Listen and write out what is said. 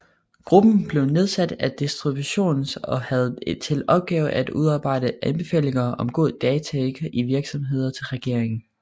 Gruppen blev nedsat af Disruptionrådet og havde til opgave at udarbejde anbefalinger om god dataetik i virksomheder til regeringen